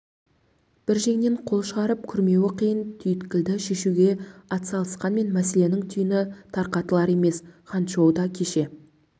бір жеңнен қол шығарып күрмеуі қиын түйткілді шешуге атсалысқанмен мәселенің түйіні тарқатылар емес ханчжоуда кеше